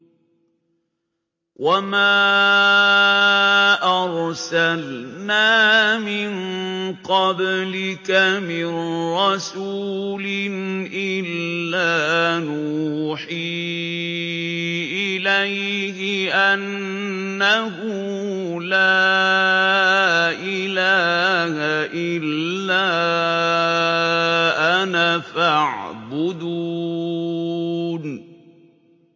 وَمَا أَرْسَلْنَا مِن قَبْلِكَ مِن رَّسُولٍ إِلَّا نُوحِي إِلَيْهِ أَنَّهُ لَا إِلَٰهَ إِلَّا أَنَا فَاعْبُدُونِ